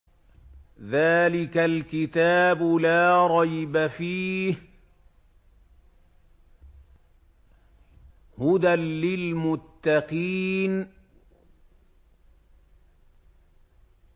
ذَٰلِكَ الْكِتَابُ لَا رَيْبَ ۛ فِيهِ ۛ هُدًى لِّلْمُتَّقِينَ